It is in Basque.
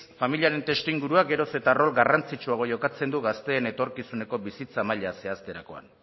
familiaren testuingurua gero eta rol garrantzitsuago jokatzen du gazteen etorkizuneko bizitza maila zehazterakoan